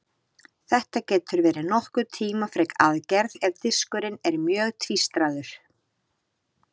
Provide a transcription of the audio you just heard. Þetta getur verið nokkuð tímafrek aðgerð ef diskurinn er mjög tvístraður.